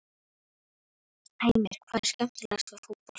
Heimir: Hvað er skemmilegast við fótbolta?